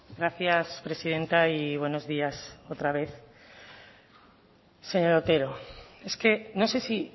gracias presidenta y buenos días otra vez señor otero es que no sé si